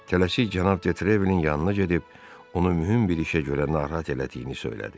Tələsik cənab de Trevilin yanına gedib onu mühüm bir işə görə narahat elədiyini söylədi.